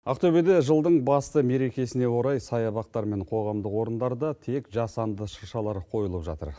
ақтөбеде жылдың басты мерекесіне орай саябақтар мен қоғамдық орындарда тек жасанды шыршалар қойылып жатыр